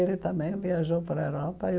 Ele também viajou para a Europa.